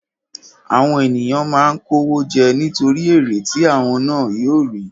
Àwọn ènìyàn máa ń kó owó jẹ nítorí èrè tí àwọn ná yóò rí.